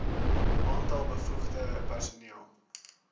aantal bevoegde personeel